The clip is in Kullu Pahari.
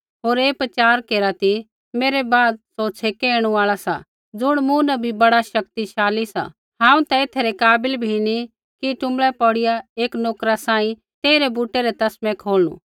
होर ऐ प्रचार केरा ती मेरै बाद सौ छे़कै ऐणु आल़ा सा ज़ुण मूँ न भी बड़ा शक्तिशाली सा हांऊँ ता एथा रै काबिल भी नी टुँबड़ै पौड़िया एक नोकरा सांही तेइरै बूटा रै तस्मै खोलनू